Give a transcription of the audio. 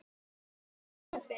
Fátt er um fisk